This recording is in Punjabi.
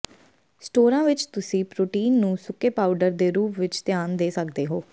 ਸਟੋਰਾਂ ਵਿੱਚ ਤੁਸੀਂ ਪ੍ਰੋਟੀਨ ਨੂੰ ਸੁੱਕੇ ਪਾਊਡਰ ਦੇ ਰੂਪ ਵਿੱਚ ਧਿਆਨ ਦੇ ਸਕਦੇ ਹੋ